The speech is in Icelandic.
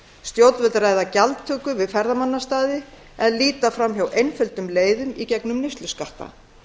stjórnvöld ræða gjaldtöku við ferðamannastaði en líta fram hjá einföldum leiðum í gegnum neysluskatta